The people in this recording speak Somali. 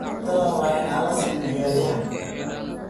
Cuntadan waa in aan la siin ciyaaryahan